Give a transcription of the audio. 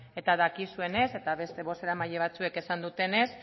eta dakizuenez eta beste bozeramaile batzuek esan dutenez